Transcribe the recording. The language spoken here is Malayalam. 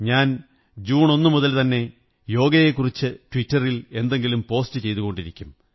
ഞാൻ ജൂൺ 1 മുതൽ തന്നെ യോഗയെക്കുറിച്ച് ട്വിറ്ററിൽ എന്തെങ്കിലും പോസ്റ്റ് ചെയ്തുകൊണ്ടിരിക്കും